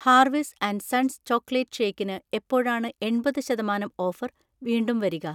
ഹാർവിസ് & sons chocolate ഷേക്കിന് എപ്പോഴാണ് എൺപത് ശതമാനം ഓഫർ വീണ്ടും വരിക?